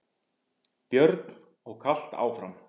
Björn: Og kalt áfram?